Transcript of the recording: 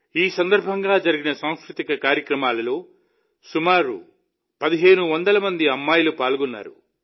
ఈ సందర్భంగా జరిగిన సాంస్కృతిక కార్యక్రమాల్లో సుమారు ఒకటిన్నర వేల మంది అమ్మాయిలు పాల్గొన్నారు